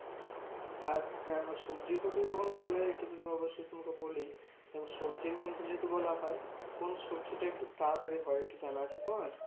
আর হ্যাঁ সবজির কথা যখন বললে একটু অবশ্যই তোমাকে বলি। তা সবজির মধ্যে তোমাকে যদি বলা হয়, কোন সবজি টা একটু তাড়াতাড়ি হয়? একটু জানা আছে তো?